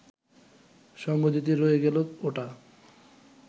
সঙ্গ দিতে রয়ে গেল ওটা